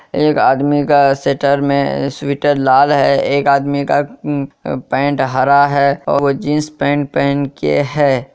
एक आदमी का स्वेटर में स्वेटर लाल है एक आदमी का उम पैंट हरा है वो जीन्स पैंट पहन के है।